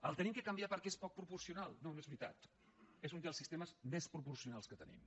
l’hem de canviar perquè és poc proporcional no no és veritat és un dels sistemes més proporcionals que tenim